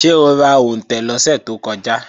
Ṣé o ra òǹtẹ̀ lọ́sẹ̀ tó kọjá?